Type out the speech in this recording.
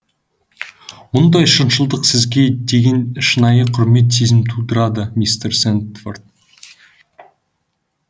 мұндай шыншылдық сізге деген шынайы құрмет сезімін тудырады мистер сэндфорд